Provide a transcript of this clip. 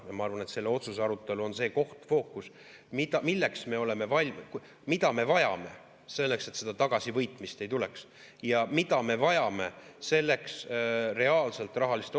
Ja ma arvan, et selle otsuse arutelu on see fookus, milleks me oleme valmis, mida me vajame selleks, et seda tagasivõitmist ei tuleks, ja mida me vajame selleks reaalselt rahaliste otsustena.